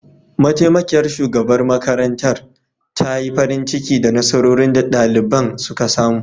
Mataimakiyar shugaban makarantar ta yi farin ciki da nasarorin da daliban suka samu